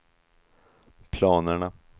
planerna